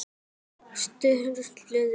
Sturlu létti.